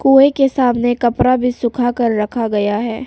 कुएं के सामने कपड़ा भी सुखाकर रखा गया है।